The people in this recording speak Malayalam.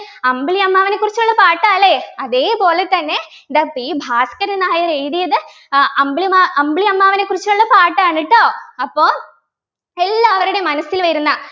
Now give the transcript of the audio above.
അമ്പിളി അമ്മാവനെ കുറിച്ചുള്ള പാട്ടാ ല്ലേ അതേപോലെതന്നെ ഇതാ P ഭാസ്കരൻ നായർ എഴുതിയത് അഹ് അമ്പിളി മാ അമ്പിളി അമ്മാവനെ കുറിച്ചുള്ള പാട്ടാണ് ട്ടോ അപ്പോ എല്ലാവരുടെയും മനസ്സിൽ വരുന്ന